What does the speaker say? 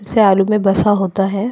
से आलू में बसा होता है।